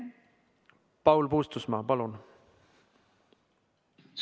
Paul Puustusmaa, palun!